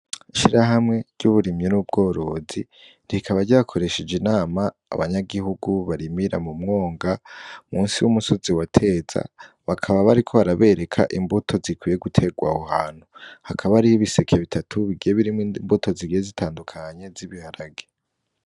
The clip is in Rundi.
Shira hamwe ry'uburimyi n'ubworozi rikaba ryakoresheje inama abanyagihugu barimira mu mwonga musi w'umusozi wateza bakaba bariko barabereka imbuto zikwiye guterwa abo hantu hakaba ari ho ibisekeye bitatu bigiye birimwo imbuto zigiye zitandukanye z'ibiharage.